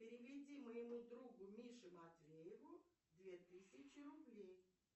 переведи моему другу мише матвееву две тысячи рублей